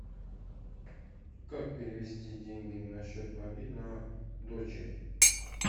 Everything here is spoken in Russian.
как перевести деньги на счет мобильного дочери